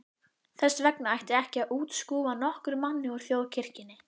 Þess vegna ætti ekki að útskúfa nokkrum manni úr Þjóðkirkjunni.